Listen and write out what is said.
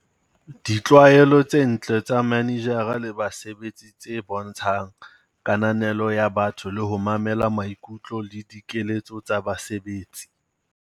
5, Ditlwaelo tse ntle tsa manejara le basebetsi tse bontshang kananelo ya batho le ho mamela maikutlo le dikeletso tsa basebetsi.